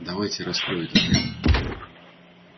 давайте я раскрою этот ряд